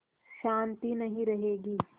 शान्ति नहीं रहेगी